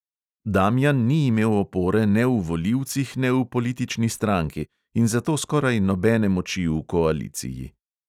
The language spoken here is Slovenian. Damijan ni imel opore ne v volivcih ne v politični stranki in zato skoraj nobene moči v koaliciji.